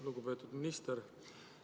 Lugupeetud minister!